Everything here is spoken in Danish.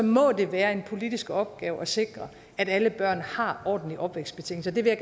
må det være en politisk opgave at sikre at alle børn har ordentlige opvækstbetingelser det vil